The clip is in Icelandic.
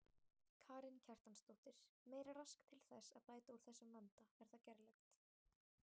Karen Kjartansdóttir: Meira rask til þess að bæta úr þessum vanda er það gerlegt?